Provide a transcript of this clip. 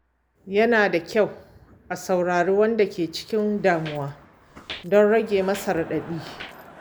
Yana da kyau a saurari wanda ke cikin damuwa don rage masa raɗaɗi.